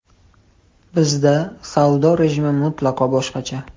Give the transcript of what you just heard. Bizda savdo rejimi mutlaqo boshqacha.